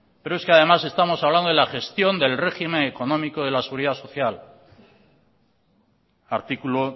pero es que además estamos hablando de la gestión del régimen económico de la seguridad social artículo